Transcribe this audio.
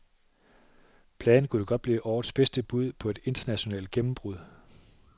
Pladen kunne godt blive årets bedste bud på et internationalt gennembrud.